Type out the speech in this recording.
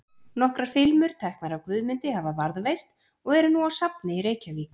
Nokkrar filmur, teknar af Guðmundi, hafa varðveist og eru nú á safni í Reykjavík.